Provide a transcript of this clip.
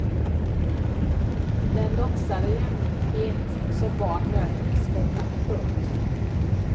Den låtsade jämlikhet som barn möter i skolan. punkt